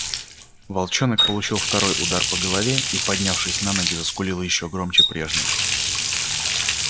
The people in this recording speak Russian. волчонок получил второй удар по голове и поднявшись на ноги заскулил ещё громче прежнего